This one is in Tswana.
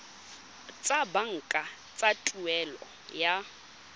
tsa banka tsa tuelo ya